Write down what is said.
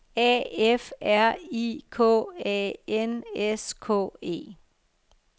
A F R I K A N S K E